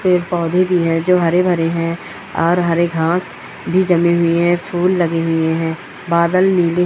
पेड़ पौधे भी है जो हरे भरे हैं। और हरे घाँस भी जमी हुई है फूल लगे हुए हैं। बादल नीले--